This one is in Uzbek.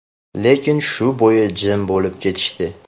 Lekin shu bo‘yi jim bo‘lib ketishdi.